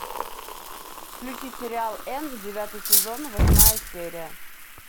включи сериал энн девятый сезон восьмая серия